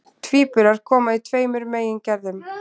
tvíburar koma í tveimur megingerðum